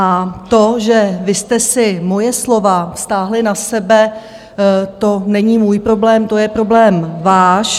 A to, že vy jste si moje slova vztáhly na sebe, to není můj problém, to je problém váš.